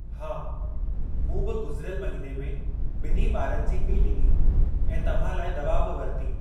हा, मूं बि गुज़िरियल महिने में ॿिन्ही ॿारनि जी फ़ी ॾिनी ऐं तव्हां लाइ दवा बि वरिती।